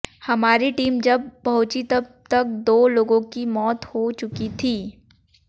हमारी टीम जब पहुंची तब तक दो लोगों की मौत हो चुकी थी